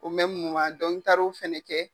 n taara o fɛnɛ kɛ.